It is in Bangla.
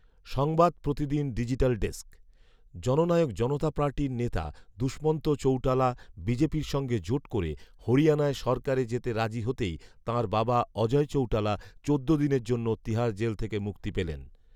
সংবাদ প্রতিদিন ডিজিটাল ডেস্ক, জননায়ক জনতা পার্টির নেতা দুষ্মন্ত চৌটালা বিজেপির সঙ্গে জোট করে হরিয়ানায় সরকারে যেতে রাজি হতেই তাঁর বাবা অজয় চৌটালা চোদ্দ দিনের জন্য তিহাড় জেল থেকে মুক্তি পেলেন